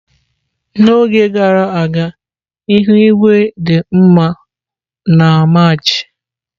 N'oge gara aga ihu igwe dị mma na Maachi.